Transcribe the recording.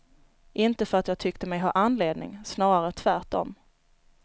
Inte för att jag tyckte mig ha anledning, snarare tvärt om.